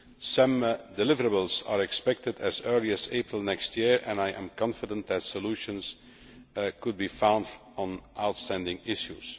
Some deliverables are expected as early as April next year and I am confident that solutions can be found on outstanding issues.